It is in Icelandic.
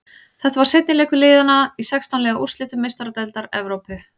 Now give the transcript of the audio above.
Þetta var seinni leikur liðana í sextán liða úrslitum Meistaradeildar Evrópu.